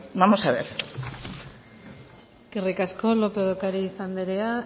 vamos a ver eskerrik asko lópez de ocariz anderea